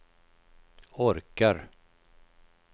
orkar